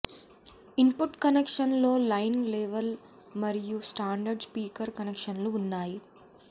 input కనెక్షన్లలో line level మరియు standard speaker కనెక్షన్లు ఉన్నాయి